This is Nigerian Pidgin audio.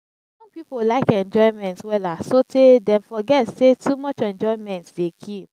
young pipo lyk enjoyment wella sotay dem forget sey too much enjoyment dey kill